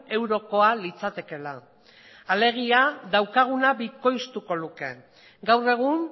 eurokoa litzatekeela alegia daukaguna bikoiztuko luke gaur egun